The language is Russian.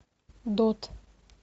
дот